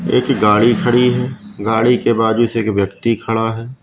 एक गाड़ी खड़ी है गाड़ी के बाजू से एक व्यक्ति खड़ा है।